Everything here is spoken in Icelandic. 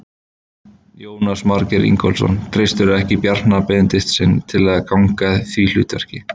Jónas Margeir Ingólfsson: Treystirðu ekki Bjarna Benediktssyni til að gegna því hlutverki?